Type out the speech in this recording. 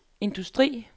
industri